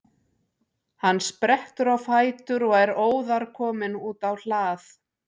Hann sprettur á fætur og er óðar kominn út á hlað.